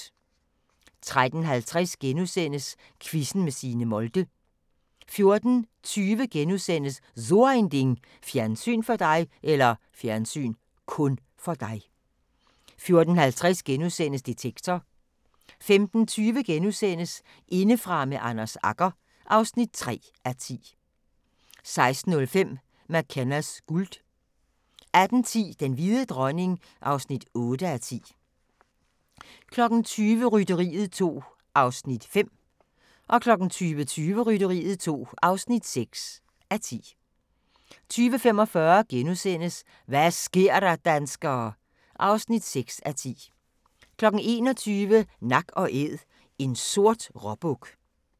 13:50: Quizzen med Signe Molde * 14:20: So ein Ding: Fjernsyn (kun) for dig * 14:50: Detektor * 15:20: Indefra med Anders Agger (3:10)* 16:05: MacKennas guld 18:10: Den hvide dronning (8:10) 20:00: Rytteriet 2 (5:10) 20:20: Rytteriet 2 (6:10) 20:45: Hva' sker der, danskere? (6:10)* 21:00: Nak & Æd – en sort råbuk